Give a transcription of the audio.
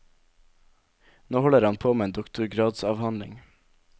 Nå holder han på med en doktorgradsavhandling.